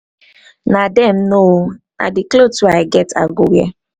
na dem know oo na the cloth wey i get i go wear.